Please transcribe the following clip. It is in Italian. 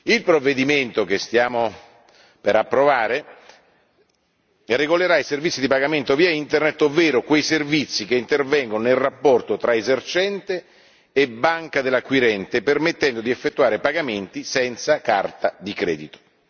Il provvedimento che stiamo per approvare regolerà i servizi di pagamento via Internet, ovvero quei servizi che intervengo nel rapporto tra esercente e banca dell'acquirente, permettendo di effettuare pagamenti senza carta di credito.